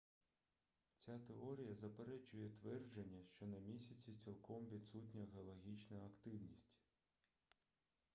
ця теорія заперечує твердження що на місяці цілком відсутня геологічна активність